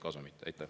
Aitäh!